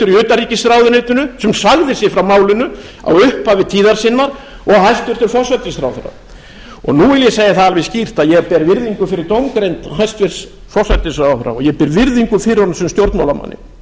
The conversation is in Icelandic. utanríkisráðuneytinu sem sagði sig frá málinu í upphafi tíðar sinnar og hæstvirtur forsætisráðherra nú vil ég segja það alveg skýrt að ég ber virðingu fyrir dómgreind hæstvirtur forsætisráðherra og ég ber virðingu fyrir honum sem stjórnmálamanni